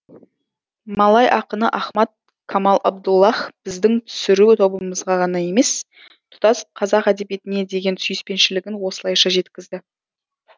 малай ақыны ахмад камал абдуллах біздің түсіру тобымызға ғана емес тұтас қазақ әдебиетіне деген сүйіспеншілігін осылайша жеткізді